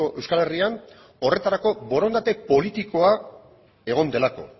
euskal herrian horretarako borondate politikoa egon delako